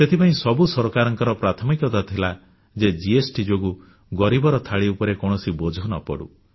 ସେଥିପାଇଁ ସବୁ ସରକାରଙ୍କର ପ୍ରାଥମିକତା ଥିଲା ଯେ ଜିଏସଟି ଯୋଗୁଁ ଗରିବର ଥାଳି ଉପରେ କୌଣସି ବୋଝ ନ ପଡ଼ୁ